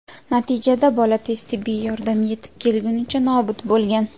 Natijada bola tez tibbiy yordam yetib kelgunicha nobud bo‘lgan.